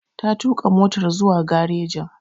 Ta tuƙa motar zuwa garejin.